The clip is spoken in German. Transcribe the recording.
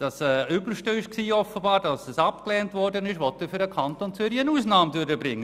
Er will für den Kanton Zürich nach der Ablehnung eine Ausnahme durchbringen.